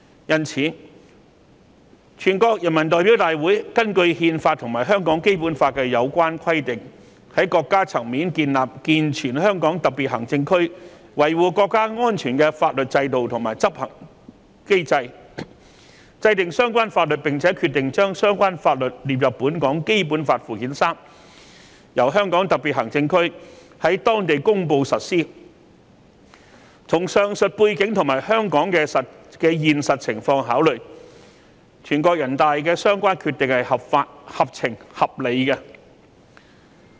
因此，全國人民代表大會根據憲法和香港《基本法》的有關規定，在國家層面建立健全香港特別行政區維護國家安全的法律制度和執行機制制訂相關法律，並且決定把相關法律列入本港《基本法》附件三，由香港特別行政區在當地公布實施，與上述背景和香港的現實情況考慮，全國人大的相關決定是合法、合情、合理的。